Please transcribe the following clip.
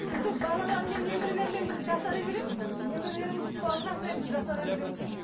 сөйтіп балалармен немерелермен біз жасара береміз немерелеріміз қуанған сайын біз жасара береміз